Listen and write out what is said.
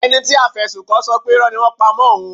Ẹni tí a fi ẹ̀sùn kàn ṣọ pé Irọ́ ni wọ́n ń pa mọ́ òun.